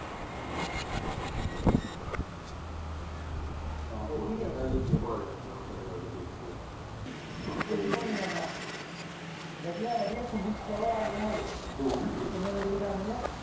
ਏਹੋ ਤੂੰ ਕੂਊ ਨਹੀਂ ਜਾਂਦਾ ਤੂੰ ਕੁਓ ਨਹੀਂ ਜਾਂਦਾ ਕਿਤਨੇ ਮੰਜਿਲ ਦਾ ਕਰਤਾ ਹ